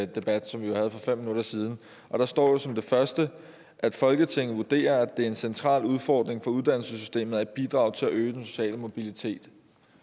debat som vi jo havde for fem minutter siden og der står som det første at folketinget vurderer at det er en central udfordring for uddannelsessystemet at bidrage til at øge den sociale mobilitet